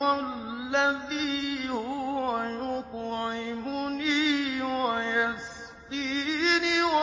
وَالَّذِي هُوَ يُطْعِمُنِي وَيَسْقِينِ